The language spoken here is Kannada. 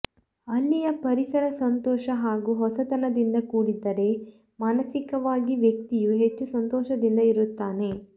ಅಲ್ಲಿಯ ಪರಿಸರ ಸಂತೋಷ ಹಾಗೂ ಹೊಸತನದಿಂದ ಕೂಡಿದ್ದರೆ ಮಾನಸಿಕವಾಗಿ ವ್ಯಕ್ತಿಯು ಹೆಚ್ಚು ಸಂತೋಷದಿಂದ ಇರುತ್ತಾನೆ